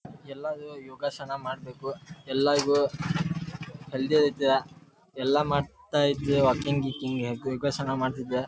ಎಲ್ಲಾರು ಯೋಗಾಸನ ಮಾಡಬೇಕು ಎಲ್ಲರಿಗು ಹೆಲ್ತ್ ಐತಿ ಎಲ್ಲಾ ಮಾಡ್ತಾ ಇದ್ರೆ ವಾಕಿಂಗ್ ಗೀಕಿಂಗ್ ಯೋಗಾಸನ ಮಾಡ್ತಿದ್ರೆ --